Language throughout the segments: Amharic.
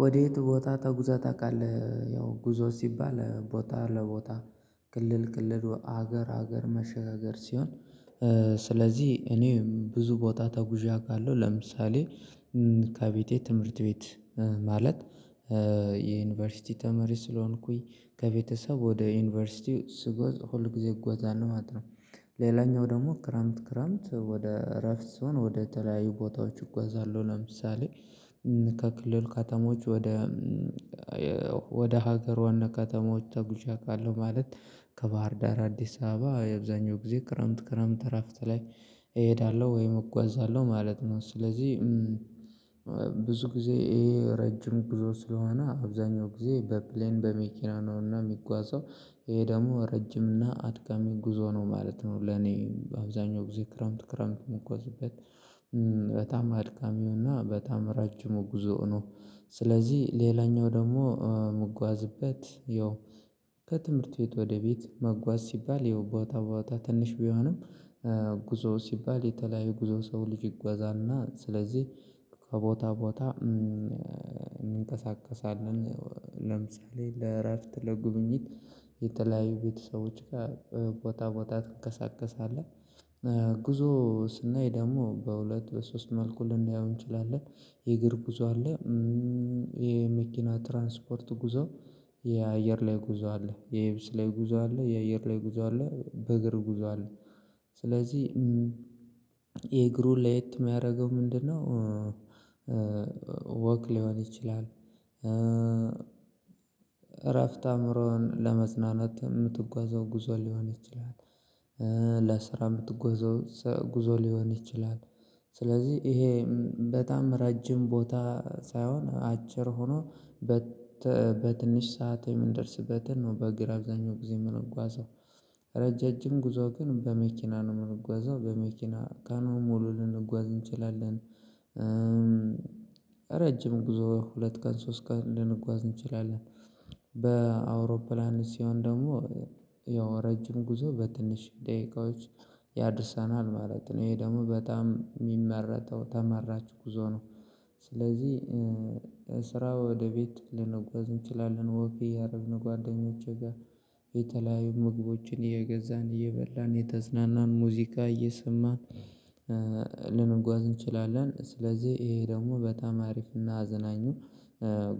ወዴት ቦታ ተጉዘህ ታውቃለህ? ያው ጉዞ ሲባል ቦታ ለቦታ ክልል ክልል ሀገር ሀገር መሸጋገር ሲሆን። ስለዚህ እኔም ብዙ ቦታ ተጉ ካለው ለምሳሌ ከቤቴ ትምህርት ቤት ማለት የዩኒቨርሲቲ ተመሪ ስለሆንኩኝ ከቤተሰብ ወደ ዩኒቨርሲቲ ስጓዝ ሁል ጊዜ እጓዛለሁ ማለት ነው። ሌላኛው ደግሞ ክረምት ክረምት ወደ እረፍት ስሆን ወደ ተለያዩ ቦታዎች እጓዛለሁ ለምሳሌ። ከክልል ከተሞች ወደ ወደ ሀገረ ዋና ከተሞች ተጉዥ አውለሁ ማለት ከባህር ዳር አዲስ አበባ አብዛኛውን ጊዜ ክረምት ክረምት እረፍት ላይ እሄዳለሁ ወይም እጓዛለሁ ማለት ነው። ስለዚህ ብዙ ጊዜ ይሄ ረጅም ብዙ ስለሆነ አብዛኛው ጊዜ በፕሌን በመኪና ነውና የሚጓዘው። ይሄ ደግሞ ረጅም እና አድካሚ ጉዞ ነው ማለት ነው ለኔ በአብዛኛው ጊዜ ክረምት ክረምት የምጉዋዝበት በጣም አድካሚውና በጣም ረጅሙ ጉዞው ነው። ስለዚህ ሌላኛው ደግሞ ምጓዝበት ያው ከትምህርት ቤት ወደ ቤት መጓዝ ሲባል ይኸው ቦታ ቦታ ትንሽ ቢሆንም ጉዞ ሲባል የተለያዩ ጉዞ ሰው ልጅ ይጓዛልና ስለዚህ ከቦታ ቦታ እንንቀሳቀሳለን። ለምሳሌ ለእረፍት ለጉብኝት የተለያዩ ቤተሰቦች ጋር ቦታ ቦታ ትንቀሳቀሳለህ። ጉዞ ስናይ ደግሞ በሁለት በሶስት መልኩ ልናያው እንችላለን የእግር ጉዞ አለ። የመኪና ትራንስፖርት ጉዞ የአየር ላይ ጉዞ አለ የየብስ ላይ ጉዞ አለ የአየር ላይ ጉዞ አለ በእግር ጉዞ አለ። ስለዚህ የእግሩን ለየት የሚያደርገው ምንድነው? ወክ ሊሆን ይችላል። እረፍት አእምሮን ለማጽናናት የምትጓዘው ጉዞ ሊሆን ይችላል። ለስራ የምትጓዘው ጉዞ ሊሆን ይችላል። ስለዚህ ይሄ በጣም ረጅም ቦታ ሳይሆን አጭር ሆኖ በትንሽ ሰዓት የምንደርስበትን ነው በእግር አብዛኛው ጊዜ የምንጓዘው ረጃጅም ጉዞ ግን በመኪና ነው የምንጓዘው በመኪና ቀኑን ሙሉ ልንጓዝ እንችላለን። ረጅም ጉዞ ሁለት ቀን ሶስት ቀን ልንጓዝ እንችላለን። በአውሮፕላን ሲሆን ደግሞ ያው ረጅም ጉዞ በትንሽ ደቂቃዎች ያደርሰናል ማለት ነው ይሄ ደግሞ በጣም የሚመረጠው ተመራጭ ጉዞ ነው። ስለዚህ ስራ ወደ ቤት ልንጓዝ እንችላለን ወክ እያረግን ጓደኞቼ ጋር የተለያዩ ምግቦችን እየገዛን እየበላን እየተዝናናን ሙዚቃ እየሰማን ልንጓዝ እንችላለን ስለዚህ ይሄ ደግሞ በጣም አሪፍና አዝናኙ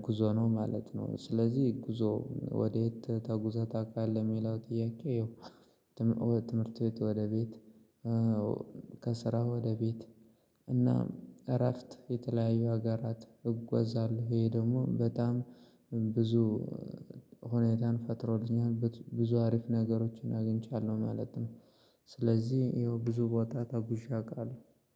ጉዞ ነው ማለት ነው። ስለዚህ ጉዞ ወዴት ተጉዘህ ታውቃለህ? የሚለው ጥያቄ ያው ትምህርት ቤት ወደ ቤት ከስራ ወደ ቤት እና እረፍት የተለያዩ ሀገራት እጓዛለሁ ይሄ ደግሞ በጣም ብዙ ሁኔታን ፈጥሮልኛል ብዙ አሪፍ ነገሮችን አግኝቻለሁ ማለት ነው። ስለዚህ ይኸው ብዙ ቦታ ተጉዥ አውቃለሁ